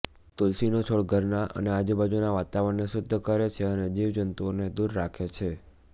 તુલસીનો છોડ ઘરનાં અને આજુબાજુના વાતાવરણને શુદ્ધ કરે છે અને જીવજંતુઓને દૂર રાખે છે